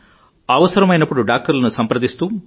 అవసరమైనప్పుడు డాక్టర్లను సంప్రదిస్తూ